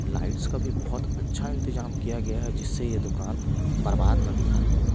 lights का भी बहुत अच्छा इंतजाम किया गया है जिससे ये दुकान बर्बाद ना दिखाई दे--